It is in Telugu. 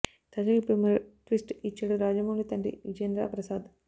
తాజాగా ఇప్పుడు మరో ట్విస్ట్ ఇచ్చాడు రాజమౌళి తండ్రి విజయేంద్ర ప్రసాద్